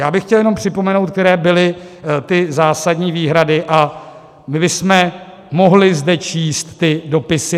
Já bych chtěl jenom připomenout, které byly ty zásadní výhrady a kdy jsme mohli zde číst ty dopisy.